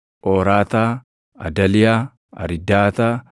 Phooraataa, Adaliyaa, Ariidaataa,